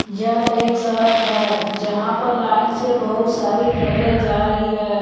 यह एक सड़क है जहां पर लाइन से बहुत सारी ट्रके जा रही है।